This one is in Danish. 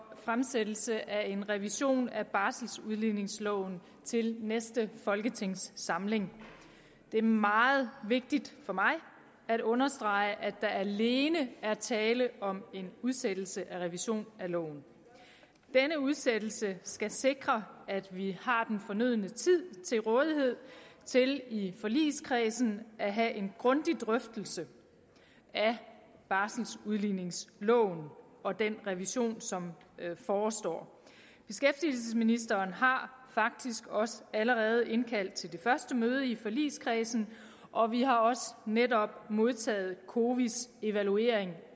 fremsættelse af en revision af barseludligningsloven til næste folketingssamling det er meget vigtigt for mig at understrege at der alene er tale om en udsættelse af en revision af loven denne udsættelse skal sikre at vi har den fornødne tid til rådighed til i forligskredsen at have en grundig drøftelse af barseludligningsloven og den revision som forestår beskæftigelsesministeren har faktisk også allerede indkaldt til det første møde i forligskredsen og vi har også netop modtaget cowi’s evaluering